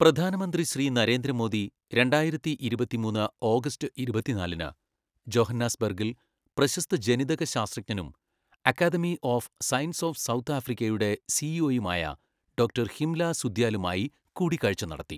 പ്രധാനമന്ത്രി ശ്രീ നരേന്ദ്ര മോദി രണ്ടായിരത്തിഇരുപത്തിമൂന്ന് ഓഗസ്റ്റ് ഇരുപത്തിനാലിന് ജോഹന്നാസ്ബർഗിൽ പ്രശസ്ത ജനിതക ശാസ്ത്രജ്ഞനും academy of science of south ആഫ്രിക്കയുടെ സിഇഒയുമായ ഡോക്ടർ ഹിംല സൂദ്യാലുമായി കൂടിക്കാഴ്ച നടത്തി.